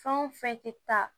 Fɛn o fɛn tɛ taa